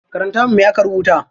Karanta min me aka rubuta.